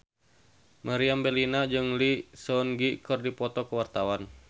Meriam Bellina jeung Lee Seung Gi keur dipoto ku wartawan